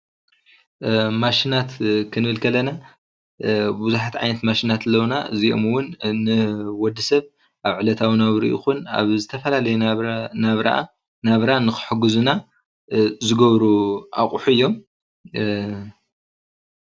ማሽናት ክንብል ኸለና ቡዙሓት ዓይነት ማሽናት ኣለውና ኢዚኦም እውን ንወድሰብ ኣብ ዕለታዊ ናብርኡ ይኹን ኣብ ዝተፈላለያ ናብራ ዝሕግዙና አቁሑ እዮም።